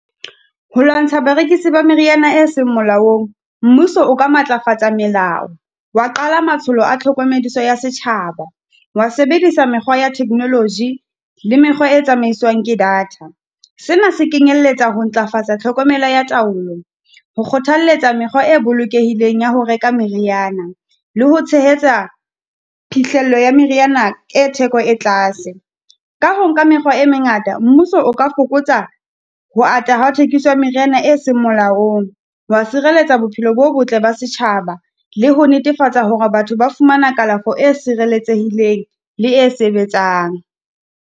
Ho lwantsha barekisi ba meriana e seng molaong, mmuso o ka matlafatsa melao, wa qala matsholo a tlhokomediso ya setjhaba, wa sebedisa mekgwa ya technology le mekgwa e tsamaiswang ke data. Sena se kenyelletsa ho ntlafatsa tlhokomela ya taolo, ho kgothalletsa mekgwa e bolokehileng ya ho reka meriana, le ho tshehetsa phihlello ya meriana e theko e tlase. Ka ho nka mekgwa e mengata, mmuso o ka fokotsa ho ata ha thekiso ya meriana e seng melaong. Wa sireletsa bophelo bo botle ba setjhaba, le ho netefatsa hore batho ba fumana kalafo e sireletsehileng le e sebetsang.